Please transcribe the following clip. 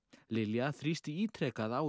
Lilja þrýsti ítrekað á